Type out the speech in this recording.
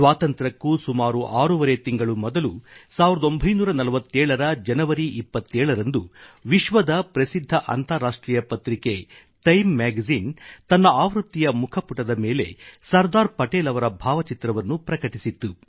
ಸ್ವಾತಂತ್ರ್ಯಕ್ಕೂ ಸುಮಾರು ಆರೂವರೆ ತಿಂಗಳು ಮೊದಲು 1947 ರ ಜನವರಿ 27 ರಂದು ವಿಶ್ವದ ಪ್ರಸಿದ್ಧ ಅಂತಾರಾಷ್ಟ್ರೀಯ ಪತ್ರಿಕೆ ಟೈಮ್ ಮ್ಯಾಗಜಿನ್ ತನ್ನ ಆವೃತ್ತಿಯ ಮುಖಪುಟದ ಮೇಲೆ ಸರ್ದಾರ್ ಪಟೇಲ್ ಅವರ ಭಾವಚಿತ್ರವನ್ನು ಪ್ರಕಟಿಸಿತ್ತು